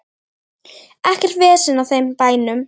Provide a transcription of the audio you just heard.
Ekkert vesen á þeim bænum.